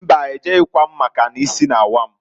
Mbaǃ E jeghikwam, maka n'isi na-awa m.